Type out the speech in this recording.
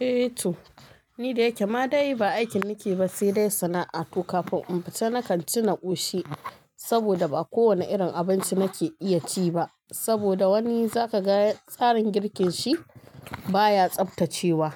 Eh to, ni da yake ma dai ba aikin nake ba, sai dai sana'a to kafin in fita na kanci na ƙoshi. Saboda, ba kowane irin abinci nake iya ci ba. Saboda wani za ka ga tsarin girkin shi baya tsaftacewa.